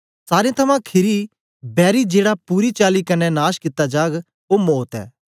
सारें थमां खीरी बैरी जेड़ा पूरी चाली कन्ने नाश कित्ता जाग ओ मौत ऐ